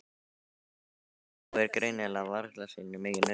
Hann trúir greinilega varla sínum eigin augum.